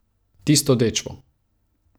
Tisto dečvo.